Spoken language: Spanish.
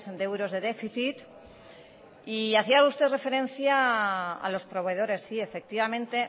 de euros de déficit y hacia usted referencia a los proveedores sí efectivamente